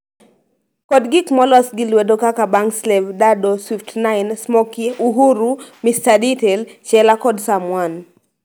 kod gik molos gi lwedo kaka Bankslave, Daddo, Swift9, Smoki, Uhuru, Mr Detail, Chela, kod Serm1.